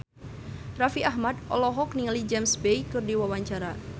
Raffi Ahmad olohok ningali James Bay keur diwawancara